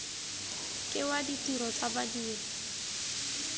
ke wa ditiro tsa badiri